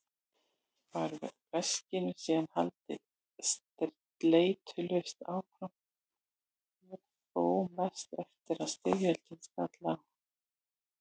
Var verkinu síðan haldið sleitulaust áfram og þó mest eftir að styrjöldin skall á.